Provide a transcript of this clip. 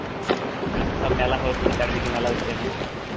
এখন তো সব মেলা হচ্ছে চারিদিকে মেলা হচ্ছে এখন